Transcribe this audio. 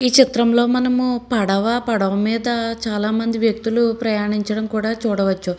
ఈ చిత్రం లో మనము పడవ పడవ మీద చాలా మంది వ్యక్తులు ప్రయానించడం కూడ చూడవచ్చు.